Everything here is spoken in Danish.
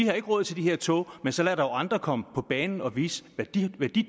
har råd til de her tog men så lad dog andre komme på banen og vise hvad de